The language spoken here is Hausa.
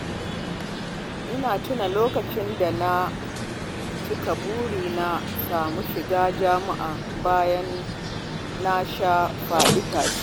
Ina tuna lokacin da na cika burina na samu shiga jami'a bayan na sha faɗi-tashi